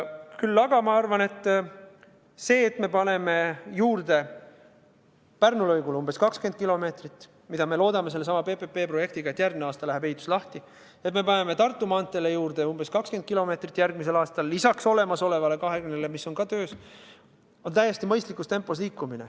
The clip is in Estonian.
Küll aga arvan ma, et kui paneme Pärnu lõigul juurde umbes 20 kilomeetrit, mida me loodame teha sellesama PPP-projekti abil – järgmine aasta läheb ehitus lahti –, ja kui paneme Tartu maanteel järgmisel aastal juurde umbes 20 kilomeetrit – lisaks olemasolevale 20 kilomeetrile, mis on samuti töös –, siis liigume täiesti mõistlikus tempos.